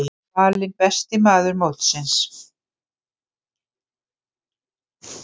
Hann var valinn besti maður mótsins.